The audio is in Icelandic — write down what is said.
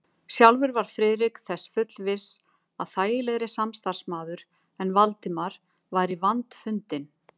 Sjálfur var Friðrik þess fullviss, að þægilegri samstarfsmaður en Valdimar væri vandfundinn.